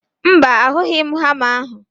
Mba, ahụghị m hama ahụ